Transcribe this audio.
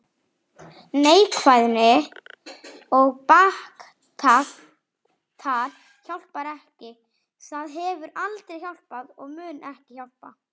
Neikvæðni og baktal hjálpar ekki þar, hefur aldrei hjálpað og mun ekki hjálpa.